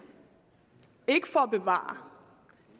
ikke for at bevare